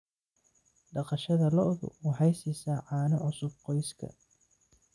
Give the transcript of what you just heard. Dhaqashada lo'du waxay siisaa caano cusub qoyska.